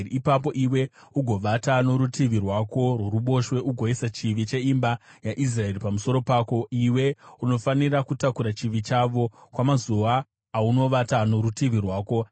“Ipapo iwe ugovata norutivi rwako rworuboshwe ugoisa chivi cheimba yaIsraeri pamusoro pako. Iwe unofanira kutakura chivi chavo kwamazuva aunovata norutivi rwako.